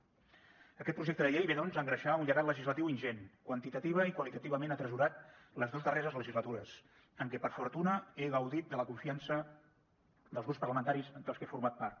aquest projecte de llei ve doncs a engreixar un llegat legislatiu ingent quantitativament i qualitativament atresorat les dos darreres legislatures en què per fortuna he gaudit de la confiança dels grups parlamentaris dels que he format part